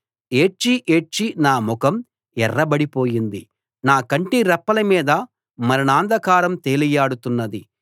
ఏడ్చి ఏడ్చి నా ముఖం ఎర్రబడిపోయింది నా కంటిరెప్పల మీద మరణాంధకారం తేలియాడుతున్నది